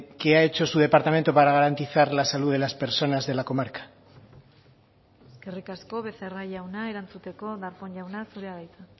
qué ha hecho su departamento para garantizar la salud de las personas de la comarca eskerrik asko becerra jauna erantzuteko darpón jauna zurea da hitza